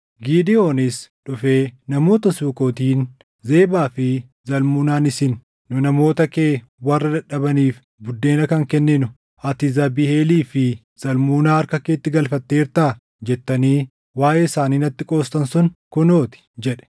Gidewoonis dhufee namoota Sukootiin, “Zebaa fi Zalmunaan isin, ‘Nu namoota kee warra dadhabaniif buddeena kan kenninu ati Zaabiheelii fi Zalmunaa harka keetti galfatteertaa?’ jettanii waaʼee isaanii natti qoostan sun kunoo ti” jedhe.